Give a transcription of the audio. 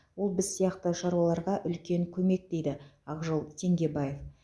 ол біз сияқты шаруаларға үлкен көмек дейді ақжол теңгебаев